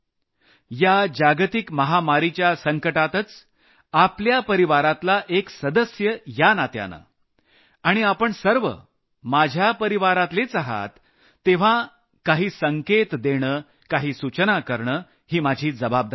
या जागतिक महामारीच्या संकटातच आपल्या परिवारातला एक सदस्य या नात्यानं आणि आपण सर्व माझ्या परिवारातलेच आहात तेव्हा काही संकेत देणं काही सूचना करणं ही माझी जबाबदारी बनते